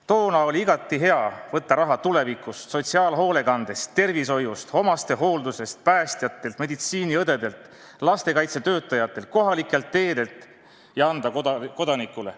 Toona oli igati hea võtta raha tuleviku arvel, sotsiaalhoolekandest, tervishoiust, omastehooldusest, päästjatelt, meditsiiniõdedelt, lastekaitsetöötajatelt, kohalikelt teedelt ja anda kodanikule.